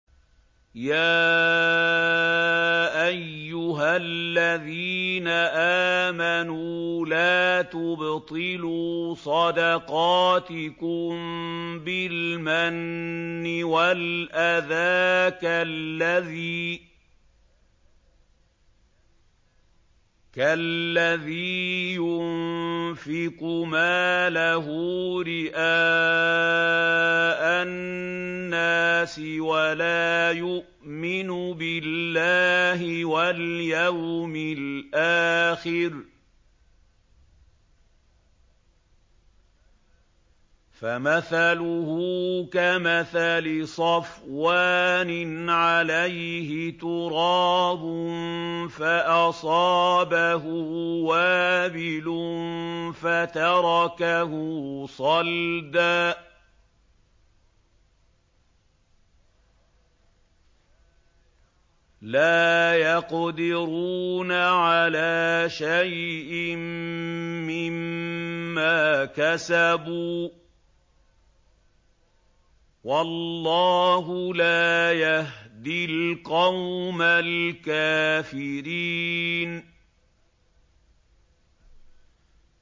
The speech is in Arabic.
يَا أَيُّهَا الَّذِينَ آمَنُوا لَا تُبْطِلُوا صَدَقَاتِكُم بِالْمَنِّ وَالْأَذَىٰ كَالَّذِي يُنفِقُ مَالَهُ رِئَاءَ النَّاسِ وَلَا يُؤْمِنُ بِاللَّهِ وَالْيَوْمِ الْآخِرِ ۖ فَمَثَلُهُ كَمَثَلِ صَفْوَانٍ عَلَيْهِ تُرَابٌ فَأَصَابَهُ وَابِلٌ فَتَرَكَهُ صَلْدًا ۖ لَّا يَقْدِرُونَ عَلَىٰ شَيْءٍ مِّمَّا كَسَبُوا ۗ وَاللَّهُ لَا يَهْدِي الْقَوْمَ الْكَافِرِينَ